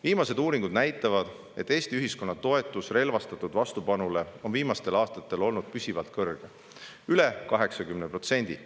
Viimased uuringud näitavad, et Eesti ühiskonna toetus relvastatud vastupanule on viimastel aastatel olnud püsivalt kõrge: üle 80%.